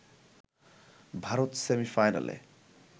ভারত সেমিফাইনালে